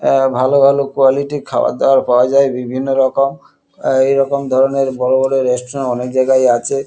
এ ভালো ভালো কোয়ালিটি খাবার দাবার পাওয়া যায় বিভিন্ন রকম অ্যা এরকম ধরণের বড় বড় রেস্টুরেন্ট অনেক জায়গায় আছে।